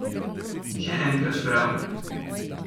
Še enkrat bravo!